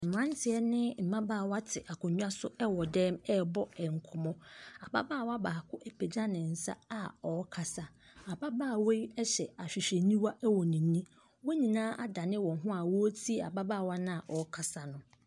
Mmranteɛ ne mmabaawa te akonnwa so wɔ dan mu rebɔ nkɔmmɔ. Ababaawa baako apegyɛ ne nsa a ɔrekasa. Ababaawa yi hyɛ ahwehwɛniwa wɔ n'ani. Wɔn nyinaa adane wɔn ho a wɔretie ababaawa no a ɔrekasa no.